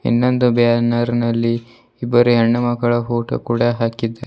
ಇನ್ನೊಂದು ಬ್ಯಾನರ್ ನಲ್ಲಿ ಇಬ್ಬರು ಹೆಣ್ಣು ಮಕ್ಕಳ ಫೋಟೋ ಕೂಡ ಹಾಕಿದ್ದೆ--